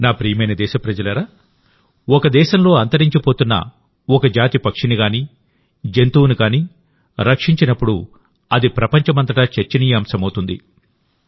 నా ప్రియమైన దేశప్రజలారాఒక దేశంలో అంతరించిపోతున్న ఒక జాతి పక్షిని గానీజంతువును గానీ రక్షించినప్పుడుఅది ప్రపంచమంతటా చర్చనీయాంశమౌతుంది